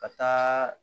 Ka taa